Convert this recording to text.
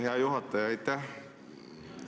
Hea juhataja, aitäh!